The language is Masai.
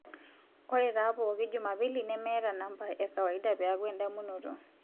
ore te pooki jumapili nemeeta nambai e kawaida peeku endamunoto